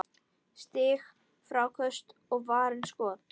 Stig, fráköst og varin skot